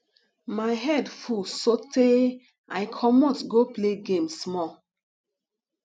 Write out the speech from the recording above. my head full so tey i comot go play game small